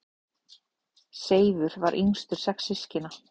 Seifur var yngstur sex systkina.